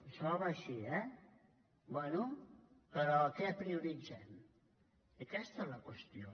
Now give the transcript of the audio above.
això va així eh bé però què prioritzem aquesta és la qüestió